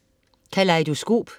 Kalejdoskop